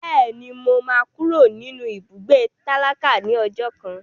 Bẹ́ẹ̀ni, mo máa kúrò nínú ibùgbé tálákà ní ọjọ́ kan.